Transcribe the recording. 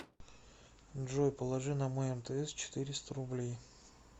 джой положи на мой мтс четыреста рублей